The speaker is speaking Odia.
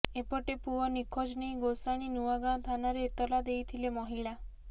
ଏପଟେ ପୁଅ ନିଖୋଜ ନେଇ ଗୋଷାଣୀ ନୂଆଗଁ ଥାନାରେ ଏତଲା ଦେଇଥିଲେ ମହିଳା